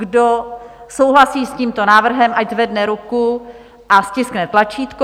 Kdo souhlasí s tímto návrhem, ať zvedne ruku a stiskne tlačítko.